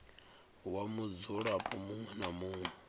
wa mudzulapo muṅwe na muṅwe